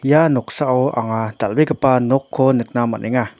ia noksao anga dal·begipa nokko nikna man·enga.